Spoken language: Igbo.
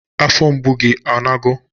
Afọ mgbu gi ọ nago?